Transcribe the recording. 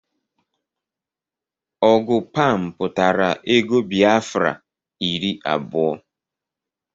Ọgụ Pam pụtara ego Biafra iri abụọ